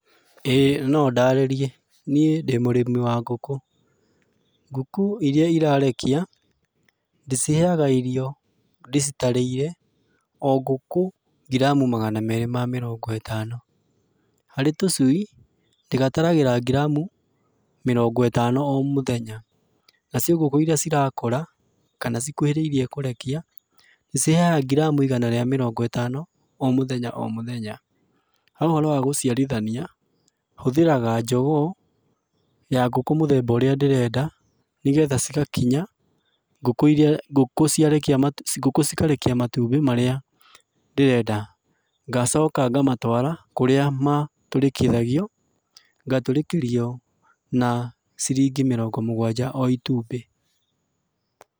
ĩĩ no ndarĩrie. Niĩ ndĩ mũrĩmi wa ngũkũ. Ngũkũ iria irarekia, ndĩciheaga irio ndĩcitarĩire o ngũkũ ngiramu magana meerĩ ma mĩrongo ĩtano. Harĩ tũcui, ndĩgataragĩra ngiramu mĩrongo ĩtano o mũthenya. Nacio ngũkũ irĩa cirakũra, kana cikuhĩrĩirie kũrekia, ndĩciheaga ngiramu igana rĩa mĩrongo ĩtano o mũthenya o mũthenya. Ha ũhoro wa gũciarithania, hũthĩraga njogoo, ya ngũkũ mũthemba ũrĩa ndĩrenda, nĩ getha cigakinya ngũkũ irĩa ngũkũ ciarekia matumbĩ ngũkũ cikarekia matumbĩ marĩa ndĩrenda. Ngacoka ngamatwara kũrĩa matũrĩkithagio, ngatũrĩkĩrio na ciringi mĩrongo mũgwanja o itumbĩ.